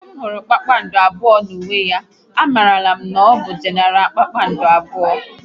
Ozigbo m hụrụ kpakpando abụọ n'uwe ya, a marala m n'ọbụ Genara kpakpando abụọ